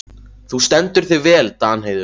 Þú stendur þig vel, Danheiður!